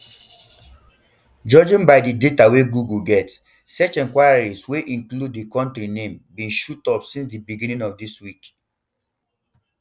judging by di by di data wey google get search enquiries wey include di kontri name bin shoot up since di beginning of dis week